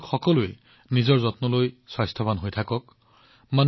আপোনালোক সকলোৱে নিজৰ যত্ন লওক স্বাস্থ্যৱান হৈ থাকক